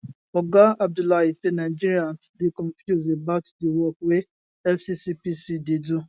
oga abdullahi say nigerians dey confuse about di work wey fccpc dey do